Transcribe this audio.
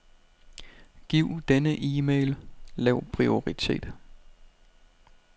Giv denne e-mail lav prioritet.